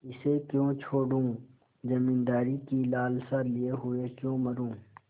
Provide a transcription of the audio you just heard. इसे क्यों छोडूँ जमींदारी की लालसा लिये हुए क्यों मरुँ